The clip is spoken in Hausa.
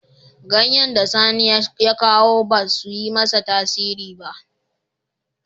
Ganyen da Sani ya kawo ba su yi masa tasiri ba.